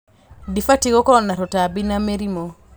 Dĩbatiĩ gũkorwo na tũtambi na mĩrimũ.